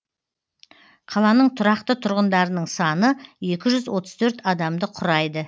қаланың тұрақты тұрғындарының саны екі жүз отыз төрт адамды құрайды